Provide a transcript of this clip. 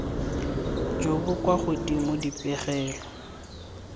jo bo kwa godimo dipegelo